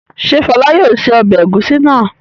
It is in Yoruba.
Ṣé Fọlá yóò se ọbẹ̀ ẹ̀gúsí náà?